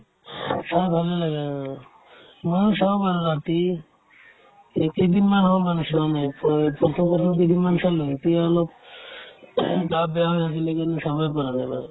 অ, ভালে লাগে অ ময়ো চাও বাৰু ৰাতি এইকেইদিন মই ভাবিছো মানে ফ কেইদিনমান চালো এতিয়া অলপ গা বেয়া হৈ আছিলে সেইকাৰণে চাবই পৰা নাই মানে